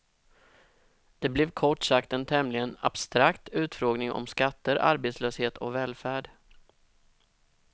Det blev kort sagt en tämligen abstrakt utfrågning om skatter, arbetslöshet och välfärd.